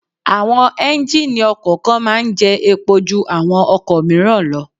Àwọn Ẹ́njíníì ọkọ̀ kan máa ń jẹ́ epo ju àwọn ọkọ̀ míràn lọ.